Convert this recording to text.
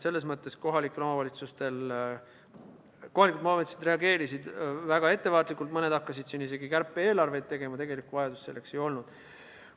Selles mõttes kohalikud omavalitsused reageerisid väga ettevaatlikult, mõned hakkasid siin isegi kärpe-eelarveid tegema, tegelikku vajadust selleks ei olnud.